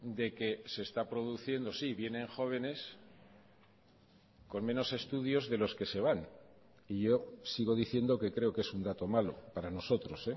de que se está produciendo sí vienen jóvenes con menos estudios de los que se van y yo sigo diciendo que creo que es un dato malo para nosotros